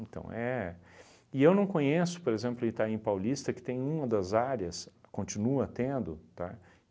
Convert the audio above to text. Então, é... E eu não conheço, por exemplo, Itaim Paulista, que tem uma das áreas, continua tendo, tá?